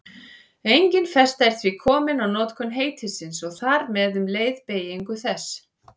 Engin festa er því komin á notkun heitisins og þar með um leið beygingu þess.